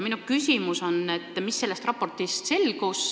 Minu küsimus on, mis selgus sellest raportist.